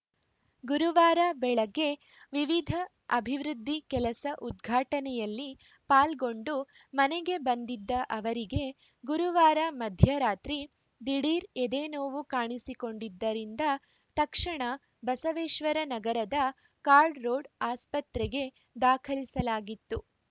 ಗುರುವಾರ ಬೆಳಗ್ಗೆ ವಿವಿಧ ಅಭಿವೃದ್ಧಿ ಕೆಲಸ ಉದ್ಘಾಟನೆಯಲ್ಲಿ ಪಾಲ್ಗೊಂಡು ಮನೆಗೆ ಬಂದಿದ್ದ ಅವರಿಗೆ ಗುರುವಾರ ಮಧ್ಯರಾತ್ರಿ ದಿಢೀರ್‌ ಎದೆನೋವು ಕಾಣಿಸಿಕೊಂಡಿದ್ದರಿಂದ ತಕ್ಷಣ ಬಸವೇಶ್ವರ ನಗರದ ಕಾರ್ಡ್‌ ರೋಡ್‌ ಆಸ್ಪತ್ರೆಗೆ ದಾಖಲಿಸಲಾಗಿತ್ತು